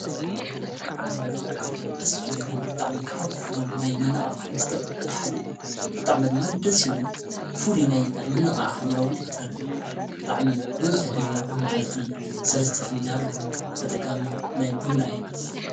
ብና ካብቶም ተስልኒ ብጥዕሚ ካሃውዝ ፈቶም ናይ መነቓ ቐሕመስተ እታሓደዩ ብጥዕመድ መደሲ ዩሉኒ ፉል ናይ መነቓ ኣምሮዉን ይፈጥረለይ ጥዕሚ በዙሕ ጊዜ ኣብ መዓልቲ ሠለስተ ፍንጃርውን ተጠቃሜ ናይ ቡና እየ።